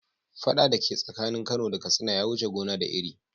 Fada dake tsakanin kano da katsina ya wuce gona da iri.